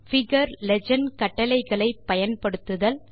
figure legend கட்டளைகளை பயன்படுத்துதல்